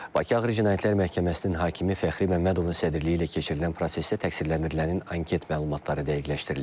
Bakı Ağır Cinayətlər Məhkəməsinin hakimi Fəxri Məmmədovun sədrliyi ilə keçirilən prosesdə təqsirləndirilənin anket məlumatları dəqiqləşdirilib.